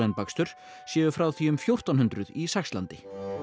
bakstur séu frá því um fjórtán hundruð í Saxlandi